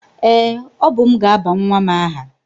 Ee, ọ bụ m ga-aba nwa m aha.